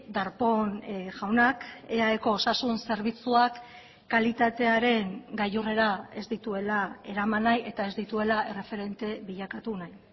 darpón jaunak eaeko osasun zerbitzuak kalitatearen gailurrera ez dituela eraman nahi eta ez dituela erreferente bilakatu nahi